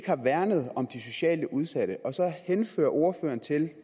har værnet om de socialt udsatte og så henhører ordføreren